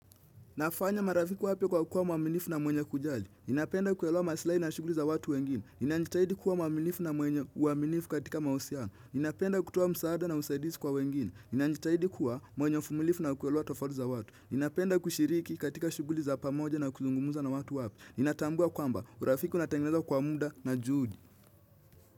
Nafanya marafiki wapya kwa kuwa mwaminifu na mwenye kujali. Napenda kuelewa maslahi na shughuli za watu wengine. Inanistahili kuwa mwaminifu na mwenye uaminifu katika mahusiano. Napenda kutoa msaada na usaidizi kwa wengine. Najitahidi kuwa mwenye uvumilivu na kuelewa tofauti za watu. Napenda kushiriki katika shughuli za pamoja na kuzungumza na watu wapya. Natambua kwamba, urafiki unatengenezwa kwa muda na juhudi.